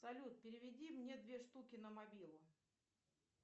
салют переведи мне две штуки на мобилу